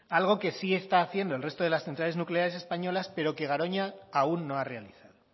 algo que sí están haciendo el resto de las centrales nucleares españolas pero que garoña aún no ha realizado